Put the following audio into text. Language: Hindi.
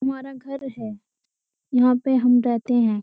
हमारा घर है यहाँ पे हम रहते हैं।